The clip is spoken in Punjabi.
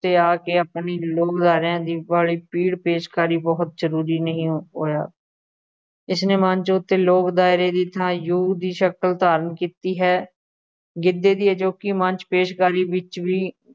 'ਤੇ ਆ ਕੇ ਆਪਣੀ ਲੋਕ ਅਦਾਰਿਆ ਦੀ ਵਾਲੀ ਪੀੜ ਪੇਸ਼ਕਾਰੀ ਬਹੁਤ ਜ਼ਰੂਰੀ ਨਹੀਂ ਹੋਇਆ, ਇਸ ਲਈ ਮੰਚ ਉੱਤੇ ਲੋਕ ਅਦਾਰੇ ਦੀ ਥਾਂ ਦੀ ਸ਼ਕਲ ਧਾਰਨ ਕੀਤੀ ਹੈ, ਗਿੱਧੇ ਦੀ ਅਜੋਕੀ ਮੰਚ ਪੇਸ਼ਕਾਰੀ ਵਿੱਚ ਵੀ